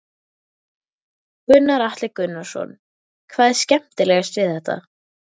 Gunnar Atli Gunnarsson: Hvað er skemmtilegast við þetta?